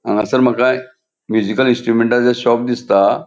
हांगासर माका म्यूज़िकल इंस्ट्रूमेंटाचे शॉप दिसता.